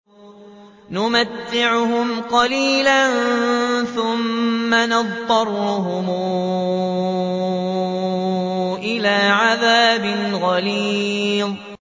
نُمَتِّعُهُمْ قَلِيلًا ثُمَّ نَضْطَرُّهُمْ إِلَىٰ عَذَابٍ غَلِيظٍ